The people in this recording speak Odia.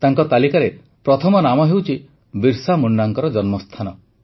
ତାଙ୍କ ତାଲିକାରେ ପ୍ରଥମ ନାମ ହେଉଛି ବିର୍ସା ମୁଣ୍ଡାଙ୍କ ଜନ୍ମସ୍ଥାନ